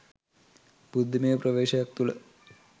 බුද්ධිමය ප්‍රවේශයක් තුළ